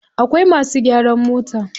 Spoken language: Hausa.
Akwai masu gyaran mota.